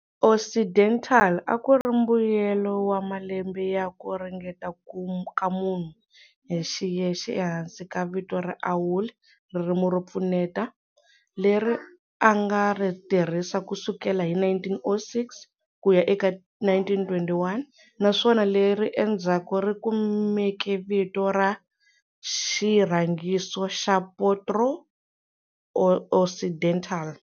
Occidental akuri mbuyelo wa malembe ya ku ringeta ka munhu hi xiyexe ehansi ka vito ra Auli ririmi ro pfuneta, leri anga ri tirhisa kusukela hi 1906 kuya eka 1921 naswona leri endzhaku ri kumeke vito ra xirhangiso ra proto-Occidental.